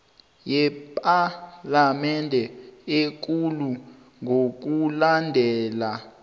yepalamende ekulu ngokulandela